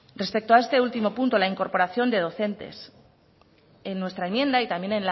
respeto a este último punto la incorporación de docentes en nuestra enmienda y también